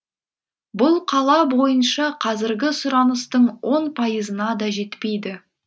бұл қала бойынша қазіргі сұраныстың он пайызына да жетпейді